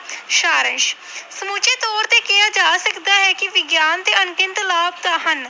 ਸਾਰ ਅੰਸ਼ ਸਮੁੱਚੇ ਤੌਰ ਤੇ ਕਿਹਾ ਜਾ ਸਕਦਾ ਹੈ ਕਿ ਵਿਗਿਆਨ ਦੇ ਅਣਗਿਣਤ ਲਾਭ ਤਾਂ ਹਨ।